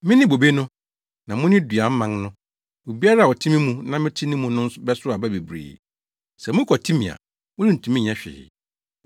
“Mene bobe no; na mo ne dua mman no. Obiara a ɔte me mu na mete ne mu no bɛsow aba bebree; sɛ mokwati me a, morentumi nyɛ hwee.